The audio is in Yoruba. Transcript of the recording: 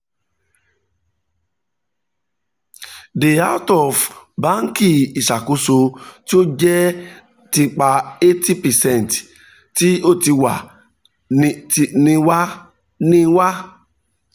the out-of-banki iṣakoso ti o jẹ nipa eighty percent ti o ti wa ni wa ni wa